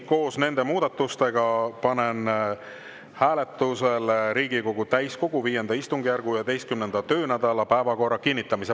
Koos nende muudatustega panen hääletusele Riigikogu täiskogu V istungjärgu 11. töönädala päevakorra kinnitamise.